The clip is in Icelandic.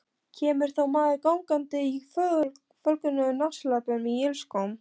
Kemur þá maður gangandi í fölgulum náttslopp og ilskóm.